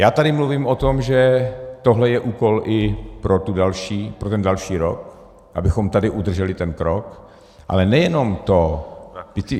Já tady mluvím o tom, že tohle je úkol i pro ten další rok, abychom tady udrželi ten krok, ale nejen to.